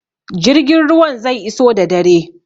Jirgin ruwan zai iso da dare.